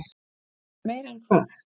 Meira en hvað?